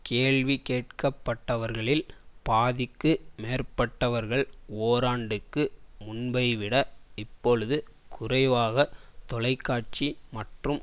கேள்வி கேட்கப்பட்டவர்களில் பாதிக்கு மேற்பட்டவர்கள் ஓராண்டுக்கு முன்பைவிட இப்பொழுது குறைவாக தொலைக்காட்சி மற்றும்